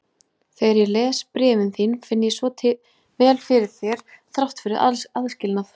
Þegar ég les bréfin þín finn ég svo vel fyrir þér þrátt fyrir aðskilnað.